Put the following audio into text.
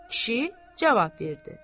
Kişi cavab verdi.